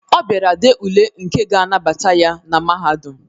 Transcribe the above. Ọ bịara dee ule nke ga-anabata ya na Mahadum